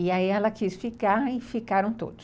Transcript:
E aí ela quis ficar e ficaram todos.